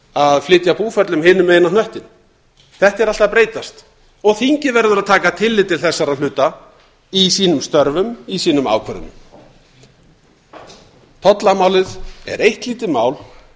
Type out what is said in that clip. að flytja búferlum hinum megin á hnöttinn þetta er allt að breytast og þingið verður að taka tillit til þessara hluta í sínum störfum í sínum ákvörðunum tollamálið er eitt lítið mál